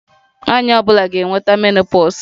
Nwanyị ọ bụla ga-enweta menopause